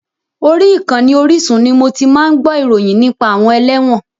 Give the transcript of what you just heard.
Orí ìkànnì Orísun ni mo ti máa ń gbó ìròyìn nípa àwọn ẹlẹ́wọ̀n.